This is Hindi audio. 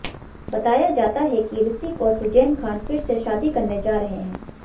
बताया जाता है कि रितिक और सुज़ैन खान फिर से शादी करने जा रहे हैं